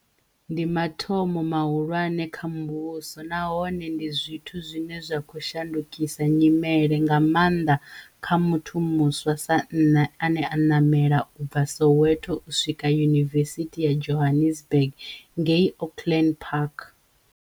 Ndi mathomo mahulwane kha muvhuso nahone ndi zwithu zwine zwa khou sha ndukisa nyimele, nga maanḓa kha muthu muswa sa nṋe ane a namela u bva Soweto u swika Yunivesithi ya Johannesburg ngei Auckland Park